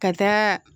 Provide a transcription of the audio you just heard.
Ka taa